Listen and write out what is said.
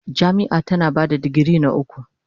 Jami'a tana ba da digiri na uku.